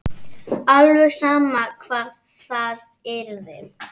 Alveg sama hvar það yrði.